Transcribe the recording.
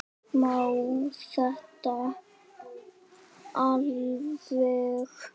Má þetta alveg?